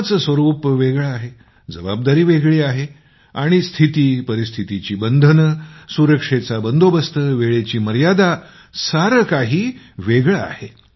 कामाचं स्वरूप वेगळं आहे जबाबदारी वेगळी आहे आणि स्थिती परिस्थितीची बंधने सुरक्षेचा बंदोबस्त वेळेची मर्यादा सारं काही वेगळं आहे